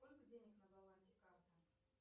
сколько денег на балансе карты